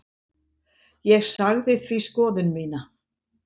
Ég sagði því skoðun mína.